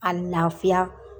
A lafiya